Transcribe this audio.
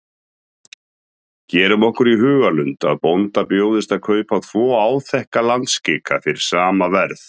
Gerum okkur í hugarlund að bónda bjóðist að kaupa tvo áþekka landskika fyrir sama verð.